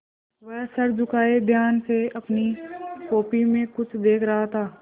वह सर झुकाये ध्यान से अपनी कॉपी में कुछ देख रहा था